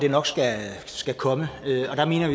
komme